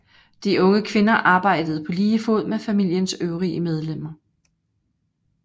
De unge kvinder arbejdede på lige fod med familiens øvrige medlemmer